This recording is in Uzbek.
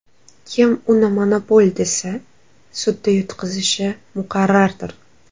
Kim uni monopol desa, sudda yutqazishi muqarrardir.